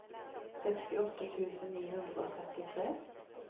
sekstiåtte tusen ni hundre og trettitre